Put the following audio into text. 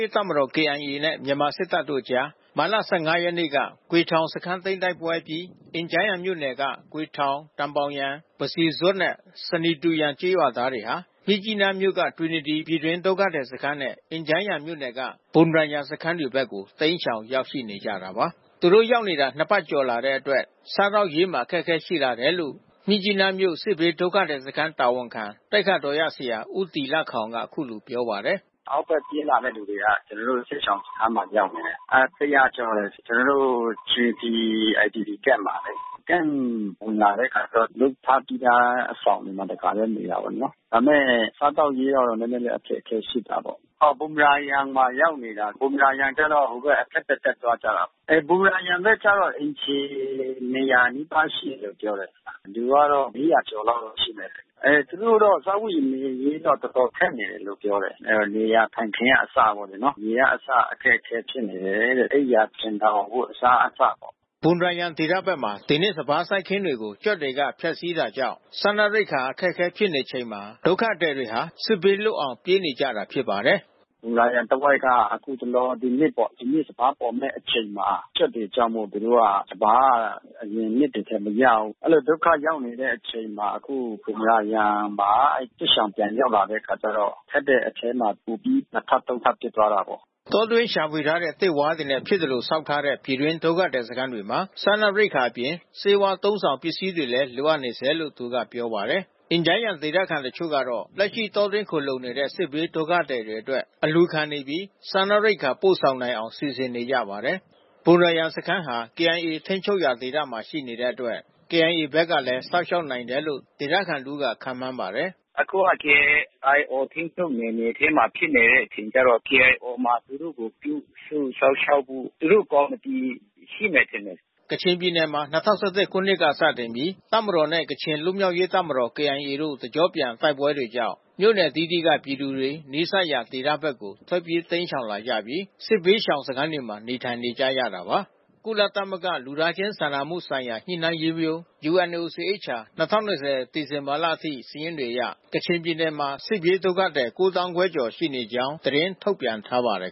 ရေးတပ်မတော် (KIA) နဲ့ မြန်မာစစ်တပ်တို့အကြား မတ်လ(၁၅) ရက်နေ့က ဂွေထောင် စခန်းတိုက်ပွဲအပြီး အင်ဂျားယန်မြို့နယ်က ဂွေထောင်၊ တန်ဘောင်ယန်၊ ပစီဇွပ် နဲ့ ဆနီတူယန် ကျေးရွာသားတွေဟာ မြစ်ကြီးနားမြို့က တွီနတီ ပြည်တွင်းဒုက္ခသည် IDP စခန်းနဲ့ အင်ဂျန်းယန်မြို့နယ်က ဘွမ်ရာယန် စခန်းတွေဘက်ကို တိမ်းရှောင်ရောက်ရှိ နေကြတာပါ။ သူတို့ရောက်နေတာ နှစ်ပတ်ကျော်လာတဲ့အတွက် စားသောက်ရေးမှာအခက်ခဲရှိလာတယ်လို့ မြစ်ကြီးနား မြို့စစ်ဘေးဒုက္ခသည်စခန်းတာဝန်ခံ သိက္ခာတော်ရဆရာဦးတီလခေါင်ကအခုလိုပြောပါတယ်။ “အောက်ဘက်ပြေးလာသူတွေကတော့ကျွန်တော်တို့ စစ်ရှောင်စခန်းကိုရောက်နေတယ်။ အဲ(၁၀၀)ကျော်တယ်။ ကျွန်တော်တို့ တွီနတီ IDP Camp မှာလေ။ Camp ဝင်လာတဲ့အခါကျတော့ လုပ်ထားပြီးသားအဆောင်မှာ တခါ တည်း နေရတာပေါ့နော်။ ဒါပေမဲ့စားသောက်ရေးကတော့နဲနဲအခက်ခဲရှိတာပေါ့။ ဘွမ်ရာယန်မှာရောက်နေတာ။ ဘွမ်ရာယန်ကျတော့ ဟိုဘက်အထက်ဘက်တက်သွားတာပေါ့။ ဘွမ်ရာယန်ကျတော့အိမ်ခြေ(၂၀၀)နီးပါး ရှိတယ် လို့ပြောတယ်။ လူကတော့(၄၀၀)ကျော်လောက်တော့ရှိမယ်။ အဲသူတို့တော့စားဝတ်နေရေးက တော်တော်ခက် နေတယ်လို့ပြောတယ်။ နေရာထိုင်းခင်းကအစပေါ့လေနော်။ ရေကအစအခက်ခဲဖြစ်နေတယ်။ အိပ်ယာခြင်ထောင် အဝတ်အစားအစပေါ့။” ဘွမ်ရာယန်ဒေသဖက်မှာ ဒီနှစ်စပါးစိုက်ခင်းတွေကို ကြွက်တွေက ဖျက်စီးတာကြောင့် စားနပ် ရိက္ခာအခက်ခဲဖြစ်နေချိန်မှာ ဒုက္ခသည်တွေဟာ စစ်ဘေးလွတ်အောင် ပြေးနေကြရတာဖြစ်ပါတယ်။ “ဘွမ်ရာယန်တဝိုက်က အခုတလော။ ဒီနှစ်ပေါ့။ ဒီနှစ်စပါးပေါ်မဲ့အချိန်မှာ ကြွက်တွေကြောင့်မို့သူတို့က စပါးက အရင် နှစ်တွေထက်မရဘူး။ အဲဒီလိုဒုက္ခရောက်နေတဲ့အချိန်ှမှာ အခုဘွမ်ရာယန်မှာ စစ်ရှောင်တွေပြန်ရောက်တဲ့ အချိန်ကျတော့ ခက်တဲ့အထဲမှာပိုပြီး နှစ်ထပ်သုံးထပ်ဖြစ်သွားတာပေါ့။” တောတွင်းရှာဖွေထားတဲ့သစ်ဝါးတွေနဲ့ဖြစ်သလိုဆောက်လုပ်ထားတဲ့ ပြည်တွင်းဒုက္ခသည်စခန်းတွေမှာ စားနပ်ရိက္ခာအပြင် ဆေးဝါးအသုံးဆောင်ပစ္စည်းတွေလဲလိုအပ်နေဆဲလို့ သူက ပြောပါတယ်။ အင်ဂျန်းယန်ဒေသခံတချို့ကတော့ လက်ရှိတောတွင်းခိုလှုံနေတဲ့ စစ်ဘေး ဒုက္ခသည်တွေအတွက် အလှူခံနေပြီး စားနပ်ရိက္ခာ ပို့ဆောင်နိုင်အောင်စီစဉ်နေကြပါတယ်။ ဘွမ်ရာယန်စခန်းဟာ KIAထိမ်းချုပ်ရာဒေသမှာရှိနေတဲ့အတွက် KIA ဘက်ကလဲစောင့်ရှောက်နိုင်တယ်လို့ ဒေသခံတဦးက ခန့်မှန်းပါတယ်။ “အခုက KIO ထိမ်းချုပ်နယ်မြေထဲမှာဖြစ်တဲ့အခါကျတော့ KIO မှာ သူတို့ကိုပြုစုစောင့်ရှောက်ဖို့ သူတို့ကော်မီတီရှိ မယ်ထင်တယ်။” ကချင်ပြည်နယ်မှာ၂၀၁၁ ခုနှစ်မှ စတင်ပြီး တပ်မတော်နဲ့ ကချင်လွတ်မြောက်ရေးတပ်မတော် KIA တို့ တစ်ကျော့ပြန် တိုက်ပွဲတွေကြောင့် မြို့နယ်အသီးသီးက ပြည်သူတွေ နီးစပ်ရာ ဒေသဖက်ကိုထွက်ပြေးတိမ်းရှောင်လာပြီး စစ်ဘေး ရှောင် စခန်းတွေမှာနေထိုင်နေရတာပါ။ ကုလသမဂ္ဂလူသားချင်းစာနာမှုဆိုင်ရာ ညှိနှိုင်းရေးရုံး (UNOCHA) 2020 စက်တင်ဘာလအထိ စာရင်းတွေအရ ကချင်ပြည်နယ်မှာ စစ်ဘေးဒုက္ခသည် ၉ သောင်းခွဲကျော် ရှိကြောင်းသတင်းထုတ်ပြန်ထားပါတယ်